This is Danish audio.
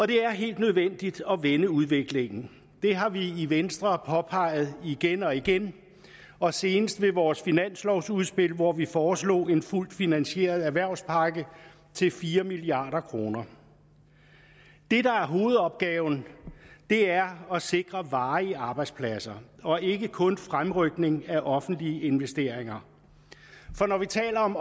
det er helt nødvendigt at vende udviklingen det har vi i venstre påpeget igen og igen og senest med vores finanslovudspil hvor vi foreslog en fuldt finansieret erhvervspakke til fire milliard kroner det der er hovedopgaven er at sikre varige arbejdspladser og ikke kun fremrykning af offentlige investeringer for når vi taler om